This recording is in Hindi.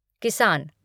किसान